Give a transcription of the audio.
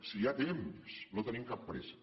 si hi ha temps no tenim cap pressa